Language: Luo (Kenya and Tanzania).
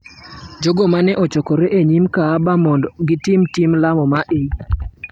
jogo ma ne ochokore e nyim Kaaba mondo gitim tim lamo mar Eid—